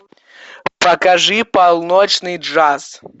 покажи полночный джаз